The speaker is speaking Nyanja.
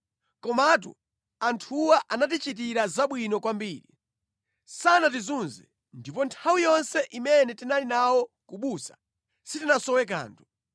Komatu anthuwa anatichitira zabwino kwambiri. Sanatizunze, ndipo nthawi yonse imene tinali nawo ku busa sitinasowe kanthu.